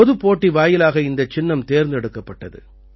பொதுப் போட்டி வாயிலாக இந்தச் சின்னம் தேர்ந்தெடுக்கப்பட்டது